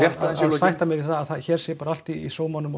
sætta mig við að hér sé allt í sómanum og